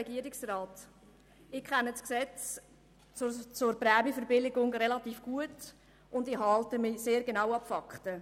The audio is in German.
Ich kenne das Gesetz betreffend die Prämienverbilligungen relativ gut und halte mich sehr genau an die Fakten.